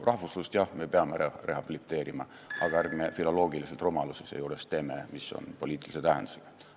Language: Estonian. Rahvuslust, jah, me peame rehabiliteerima, aga ärme teeme seejuures filoloogilisi rumalusi, mis on poliitilise tähendusega.